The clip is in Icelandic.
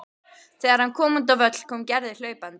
Þegar hann kom út á völl kom Gerður hlaupandi.